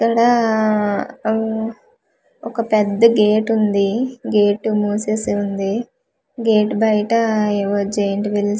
ఇక్కడ అవ్ ఒక పెద్ద గేట్ వుంది గేట్ మూసేసి వుంది గేట్ బయట ఏవొ జైన్ట్ వీల్స్ --